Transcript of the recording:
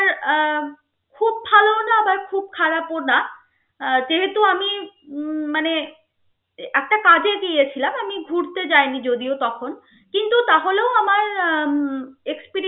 এর আহ খুব ভালও না, আবার খুব খারাপও না. আহ যেহেতু আমি উম মানে একটা কাজে গিয়েছলাম. আমি ঘুরতে যায়নি যদিও তখন. কিন্তু তাহলেও আমার আহ উম exper~